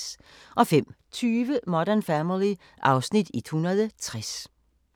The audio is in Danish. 05:20: Modern Family (Afs. 160)